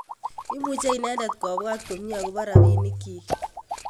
Imuche inendet kopwat komyee akopo rapinikyik